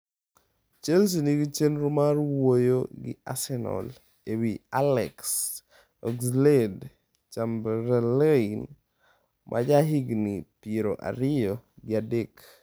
Chelsea nigi chenro mar wuoyo gi Arsenal ewi Alex Oxlade-Chamberlain, ma jahigni piero ariyo gi adek.